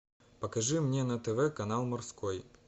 покажи мне на тв канал морской